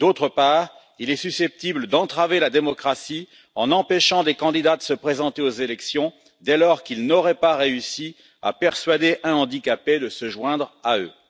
Par ailleurs, il est susceptible d'entraver la démocratie en empêchant des candidats de se présenter aux élections dès lors qu'ils n'auraient pas réussi à persuader un handicapé de se joindre à eux.